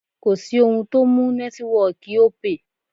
Kò sí ohun tó mú nẹ́tíwọọ̀kì Opay.